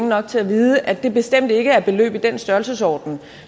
nok til at vide at det bestemt ikke er beløb i den størrelsesorden